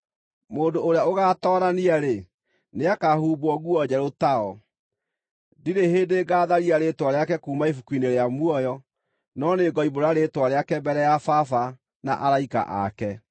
Mũndũ ũrĩa ũgatoorania-rĩ, nĩakahumbwo nguo njerũ tao. Ndirĩ hĩndĩ ngaatharia rĩĩtwa rĩake kuuma ibuku-inĩ rĩa muoyo, no nĩngoimbũra rĩĩtwa rĩake mbere ya Baba, na araika aake.